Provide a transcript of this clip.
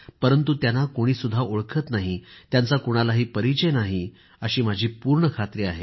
परंतु त्यांना कोणीसुद्धा ओळखत नाही त्यांचा कुणालाही परिचय नाही अशी माझी पूर्ण खात्री आहे